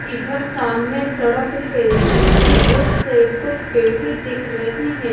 इधर सामने सड़क है जिसके उस साइड कुछ पेड़ ही दिख रहे हैं।